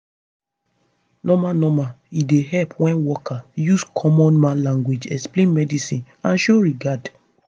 normal normal e dey help wen worker use common man language explain medicine and show regard